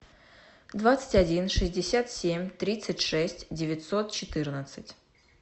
двадцать один шестьдесят семь тридцать шесть девятьсот четырнадцать